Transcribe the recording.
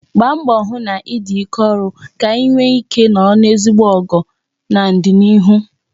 Gbaa mbọ hụ na ị dị ike ọrụ ka I wee nwe ike nọrọ n'ezigbo ogo n'ọdịnịihu